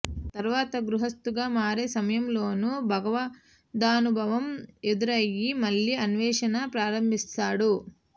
తరువాత గృహస్థుగా మారే సమయంలోనూ భగవదానుభవం ఎదురై మళ్లీ అనే్వషణ ప్రారంభిస్తాడు